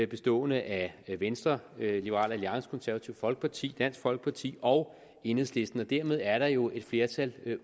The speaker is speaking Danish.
bestående af venstre liberal alliance det konservative folkeparti dansk folkeparti og enhedslisten og dermed er der jo flertal